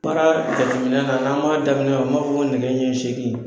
Baara jateminɛ na n'an b'a daminɛ an b'a fɔ ko nɛgɛ ɲɛ segin